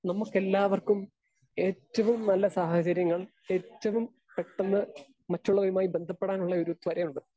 Speaker 2 നമ്മക്കെല്ലാവർക്കും ഏറ്റവും നല്ല സാഹചര്യങ്ങൾ ഏറ്റവും പെട്ടന്ന് മറ്റുള്ളവരുമായി ബന്ധപ്പെടാനുള്ള ഒരു ത്വരയുണ്ട്.